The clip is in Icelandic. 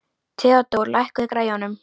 Theódór, lækkaðu í græjunum.